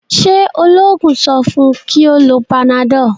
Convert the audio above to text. ṣe oloogun so fun kí o ló Panadol?